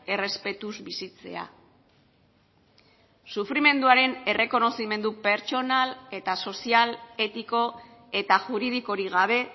errespetuz bizitzea sufrimenduaren errekonozimendu pertsonal eta sozial etiko eta juridikorik gabe